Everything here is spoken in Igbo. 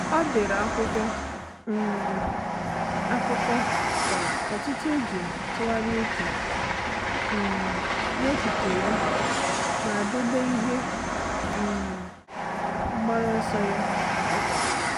Ọ́ dèrè ákwụ́kwọ́ um ákụ́kọ́ kwa ụ́tụ́tụ́ iji tụ́gharị́a úchè um n’echiche ya ma dèbé ihe um mgbaru ọsọ ya kwa ụ́bọ̀chị̀.